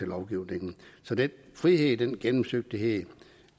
lovgivningen så den frihed den gennemsigtighed